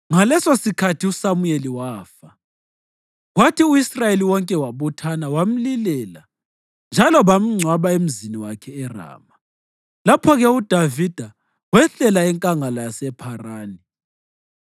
Ngalesosikhathi uSamuyeli wafa, kwathi u-Israyeli wonke wabuthana wamlilela; njalo bamngcwaba emzini wakhe eRama. Lapho-ke uDavida wehlela eNkangala yasePharani.